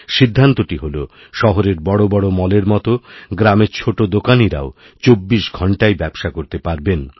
সিদ্ধান্তটিহল শহরের বড় বড় মল এর মত গ্রামের ছোটো দোকানিরাও চব্বিশ ঘণ্টাই ব্যবসা করতেপারবেন